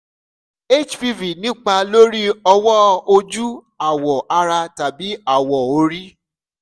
hpv ń nípa lórí ọwọ́ ojú awọ̀ ara tàbí awọ orí